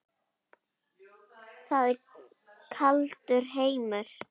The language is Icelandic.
Þetta er kaldur heimur.